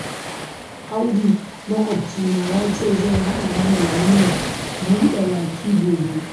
Audu maƙwabcina ya ce zai haɗa mana walimar buɗa baki gobe